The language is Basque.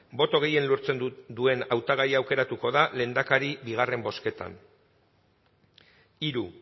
boto gehien lortzen duen hautagaia aukeratuko da lehendakari bigarren bozketan hiru